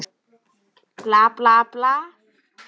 Bla, bla, bla.